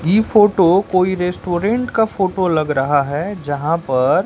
ये फोटो कोई रेस्टोरेंट का फोटो लग रहा है यहां पर--